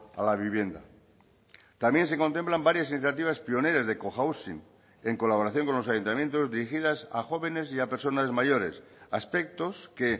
a la vivienda también se contemplan varias iniciativas pioneras de cohousing en colaboración con los ayuntamientos dirigidas a jóvenes y a personas mayores aspectos que